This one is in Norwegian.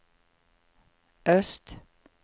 øst